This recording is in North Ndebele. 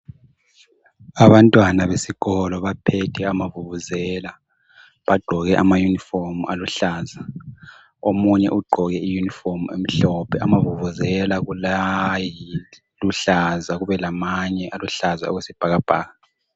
Abantwana besikolo baphethe amavuvuzela. Bagqoke amayunifomu aluhlaza, omunye ugqoke iyunifomu emhlophe. Amavuvuzela kulayiluhlaza kube lamanye aluhlaza okwesibhakabhaka.